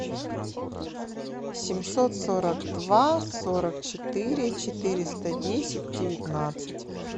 семьсот сорок два сорок четыре четыреста десять девятнадцать